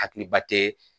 Hakiliba tɛ